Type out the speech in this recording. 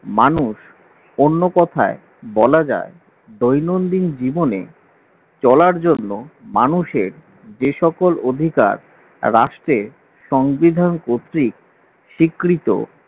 মানুষ অন্য কথায় বলা যায় দৈনন্দিন জীবনে চলার জন্য মানুষের যে সকল অধিকার রাষ্ট্রে সংবিধান কর্তৃক স্বীকৃত